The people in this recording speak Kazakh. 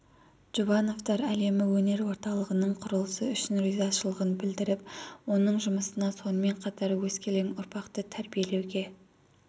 жұбановтар әлемі өнер орталығының құрылысы үшін ризашылығын білдіріп оның жұмысына сонымен қатар өскелең ұрпақты тәрбиелеуге